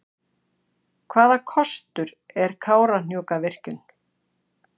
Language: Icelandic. Hvaða kostur er Kárahnjúkavirkjun?